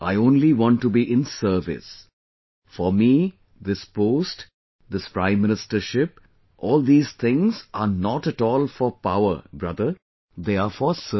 I only want to be in service; for me this post, this Prime Ministership, all these things are not at all for power, brother, they are for service